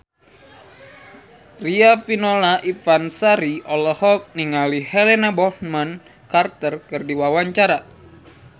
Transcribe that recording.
Riafinola Ifani Sari olohok ningali Helena Bonham Carter keur diwawancara